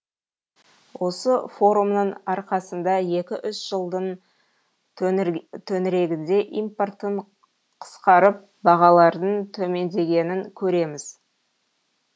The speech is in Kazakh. осы форумның арқасында екі үш жылдың төңірегінде импорттың қысқарып бағалардың төмендегенін көреміз